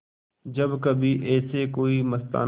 जब कभी ऐसे कोई मस्ताना